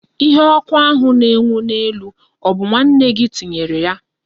Ihe oku ahụ na enwu na elu, obu nwanne gi tinyere ya?